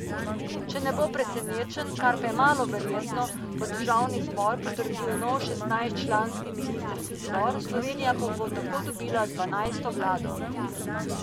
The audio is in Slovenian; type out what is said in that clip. Če ne bo presenečenj, kar pa je malo verjetno, bo državni zbor potrdil nov šestnajstčlanski ministrski zbor, Slovenija pa bo tako dobila dvanajsto vlado.